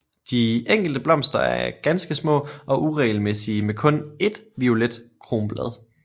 De enkelte blomster er ganske små og uregelmæssige med kun ét violet kronblad